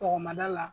Sɔgɔmada la